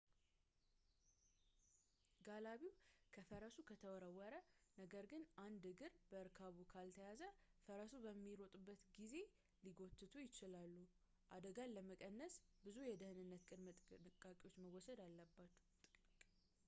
ጋላቢው ከፈረሱ ከተወረወረ ነገር ግን አንድ እግር በእርካቡ ከተያዘ ፈረሱ በሚሮጥበት ጊዜ ሊጎተቱ ይችላሉ አደጋን ለመቀነስ ብዙ የደኅንነት ቅድመ ጥንቃቄዎች መወሰድ አለባቸው